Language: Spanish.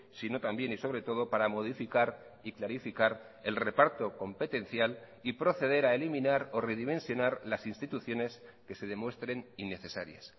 sino también y sobre todo para modificar y clarificar el reparto competencial y proceder a eliminar o redimensionar las instituciones que se demuestren innecesarias